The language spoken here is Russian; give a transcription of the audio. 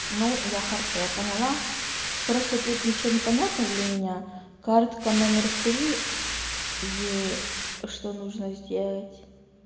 ну я хорошо я поняла просто тут ничего непонятно для меня картка номер три и что нужно сделать